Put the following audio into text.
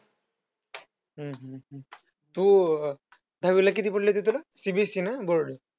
तू अं दहावीला किती पडले होते तुला CBSE ना board?